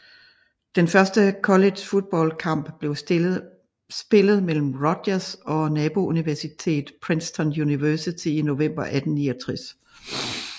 Den første college football kamp blev spillet mellem Rutgers og nabouniversitetet Princeton University i november 1869